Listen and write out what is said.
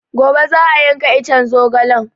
Gobe za a yanka iccen zogalen